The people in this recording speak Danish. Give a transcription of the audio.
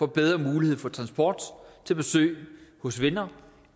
bedre mulighed for transport til besøg hos venner